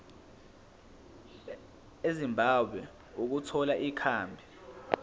ezimbabwe ukuthola ikhambi